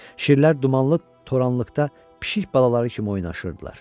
Şirlər dumanlı toranlıqda pişik balaları kimi oynaşırdılar.